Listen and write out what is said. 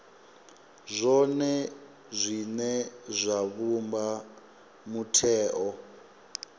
zwone zwine zwa vhumba mutheo